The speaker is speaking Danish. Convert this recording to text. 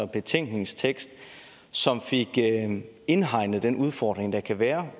betænkningstekst som fik indhegnet den udfordring der kan være